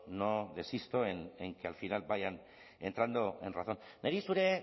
no desisto en que al final vayan entrando en razón niri